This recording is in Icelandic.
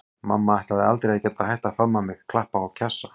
Mamma ætlaði aldrei að geta hætt að faðma mig, klappa og kjassa.